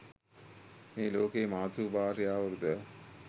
මේ ලෝකයේ මාතෘ භාර්යාවරු ද